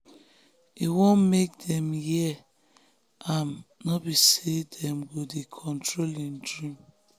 e wan make dem hear am no be say dem go dey control him dream.